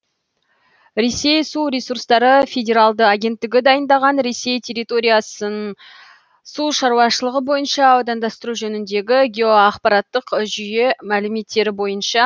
ресей су ресурстары федералды агенттігі дайындаған ресей территориясын сушаруашылығы бойынша аудандастыру жөніндегі геоақпараттық жүйе мәліметтері бойынша